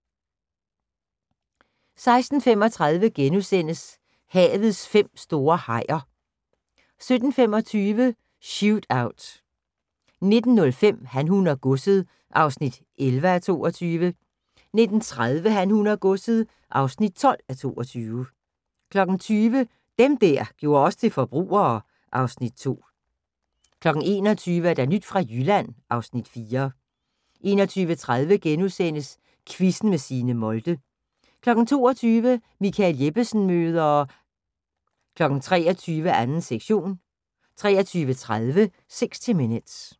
16:35: Havets fem store hajer * 17:25: Shootout 19:05: Han, hun og godset (11:22) 19:30: Han, hun og godset (12:22) 20:00: Dem der gjorde os til forbrugere (Afs. 2) 21:00: Nyt fra Jylland (Afs. 4) 21:30: Quizzen med Signe Molde * 22:00: Michael Jeppesen møder... 23:00: 2. sektion 23:30: 60 Minutes